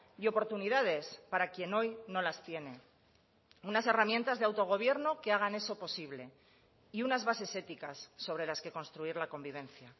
y oportunidades para quien hoy no las tiene unas herramientas de autogobierno que hagan eso posible y unas bases éticas sobre las que construir la convivencia